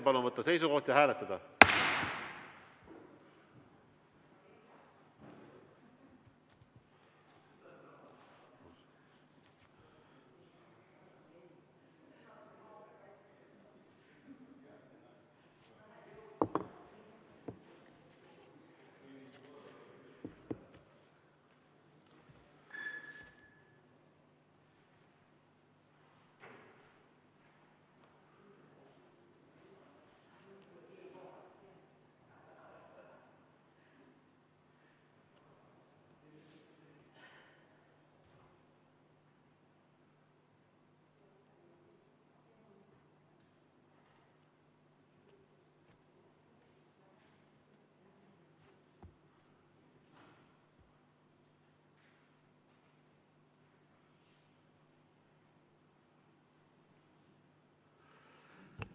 Palun võtta seisukoht ja hääletada!